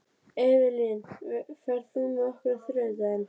Evelyn, ferð þú með okkur á þriðjudaginn?